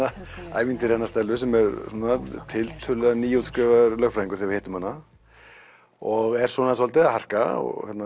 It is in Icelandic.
ævintýri hennar Stellu sem er svona tiltölulega nýútskrifaður lögfræðingur við hittum hana og er svona svolítið að harka